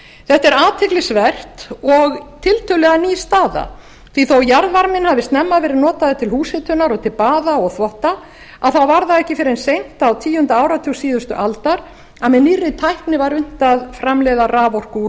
þetta er athyglisvert og tiltölulega ný staða því þó jarðvarminn hafi snemma verið notaður til húshitunar og til baða og þvotta þá var það ekki fyrr en seint á tíunda áratug síðustu aldar að með nýrri tækni var unnt að framleiða raforku úr